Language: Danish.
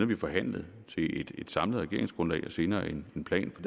vi forhandlet til et samlet regeringsgrundlag og senere en plan for